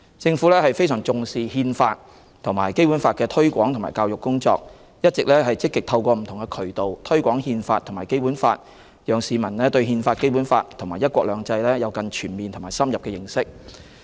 政府非常重視《憲法》及《基本法》的推廣及教育工作，一直積極透過不同渠道推廣《憲法》及《基本法》，讓市民對《憲法》、《基本法》及"一國兩制"有更全面和深入的認識。